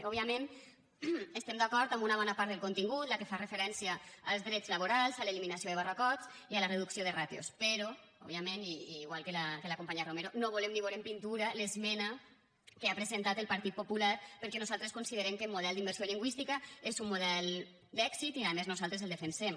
òbviament estem d’acord amb una bona part del contingut la que fa referència als drets laborals a l’eliminació de barracots i a la reducció de ràtios però òbviament i igual que la companya romero no volem ni vore en pintura l’esmena que ha presentat el partit popular perquè nosaltres considerem que el model d’immersió lingüística és un model d’èxit i a més nosaltres el defensem